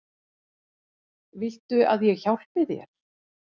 Viltu að ég hjálpi þér?